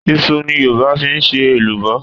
Iṣu ni Yorùbá fi ń ṣe èlùbọ́